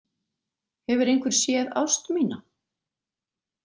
Hefur einhver séð ást mína?